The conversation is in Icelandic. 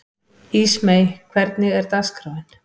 Ísmey, hvernig er dagskráin?